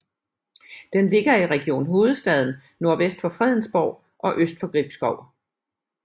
Den ligger i Region Hovedstaden nordvest for Fredensborg og øst for Gribskov